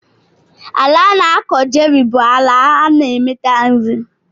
Ala ana akọ cherry bu ala na emeta nri.